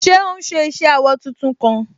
Ṣé òún ṣe iṣẹ awọ tuntun kan?